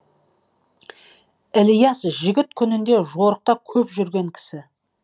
ілияс жігіт күнінде жорықта көп жүрген кісі